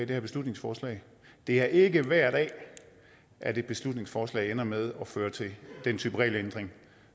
det her beslutningsforslag det er ikke hver dag at et beslutningsforslag ender med at føre til den type regelændring